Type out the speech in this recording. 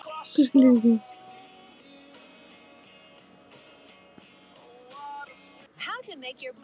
Páll á einn son.